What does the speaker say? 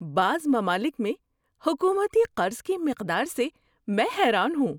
بعض ممالک میں حکومتی قرض کی مقدار سے میں حیران ہوں۔